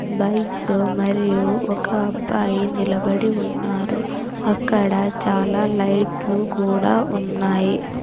Bikes మరియు ఒక అబ్బాయి నిలబడి ఉన్నారు అక్కడ చాలా లైట్లు కూడా ఉన్నాయి.